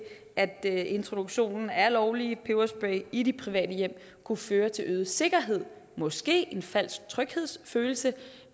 at introduktion af lovlige peberspray i de private hjem kunne føre til øget sikkerhed måske en falsk tryghedsfølelse